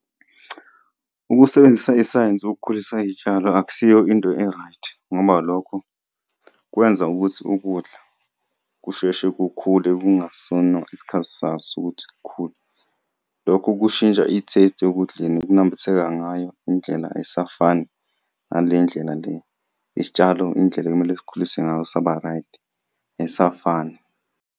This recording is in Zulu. Ukusebenzisa isayensi ukukhulisa iyitshalo akusiyo into e-right ngoba lokho kwenza ukuthi ukudla kusheshe kukhule kungasona isikhathi saso ukuthi kukhule. Lokho kushintsha i-taste ekudleni ukunambitheka ngayo indlela ayisafani ngale ndlela le isitshalo indlela ekumele sikhulise ngayo saba-right ayisafani.